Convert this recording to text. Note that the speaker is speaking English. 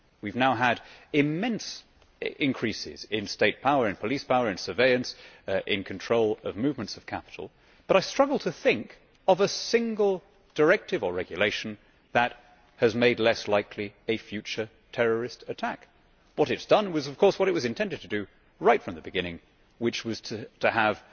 We have now had immense increases in state power, police power, surveillance and control of movements of capital, but I struggle to think of a single directive or regulation that has made less likely a future terrorist attack. What it has done was, of course, what it was intended to do right from the beginning, which was to have